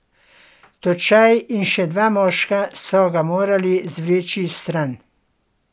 Točaj in še dva moška so ga morali zvleči stran.